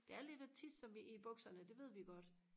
det er lidt og tisse sig i bukserne det ved vi godt